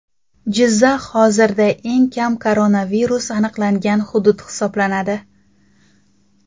Jizzax hozirda eng kam koronavirus aniqlangan hudud hisoblanadi.